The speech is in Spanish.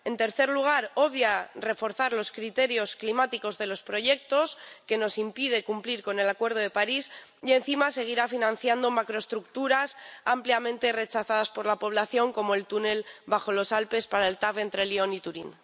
En tercer lugar, obvia reforzar los criterios climáticos de los proyectos, lo que nos impide cumplir el Acuerdo de París, y encima seguirá financiando macroestructuras ampliamente rechazadas por la población, como el túnel bajo los Alpes para el TAV entre Lyon y Turín.